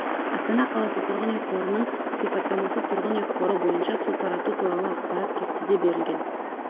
астана қаласы тұрғын үй қорының сипаттамасы тұрғын үй қоры бойынша су тарату туралы ақпарат кестеде берілген